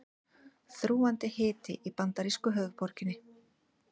Þrúgandi hiti í bandarísku höfuðborginni